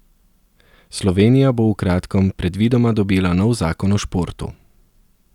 Slovenija bo v kratkem predvidoma dobila nov zakon o športu.